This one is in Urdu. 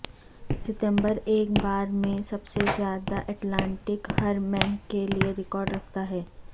ستمبر ایک بار میں سب سے زیادہ اٹلانٹک ہرمینک کے لئے ریکارڈ رکھتا ہے